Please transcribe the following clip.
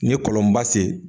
Ne kɔlɔnba sen